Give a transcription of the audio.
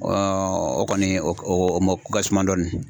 o kɔni o o o mako ka suma dɔɔni.